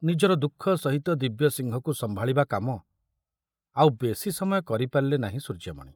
ନିଜର ଦୁଃଖ ସହିତ ଦିବ୍ୟସିଂହକୁ ସମ୍ଭାଳିବା କାମ ଆଉ ବେଶୀ ସମୟ କରିପାରିଲେ ନାହିଁ ସୂର୍ଯ୍ୟମଣି।